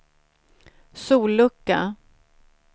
sollucka